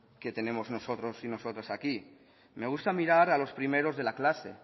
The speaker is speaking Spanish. que tenemos nosotros y nosotras aquí me gusta mirar a los primeros de la clase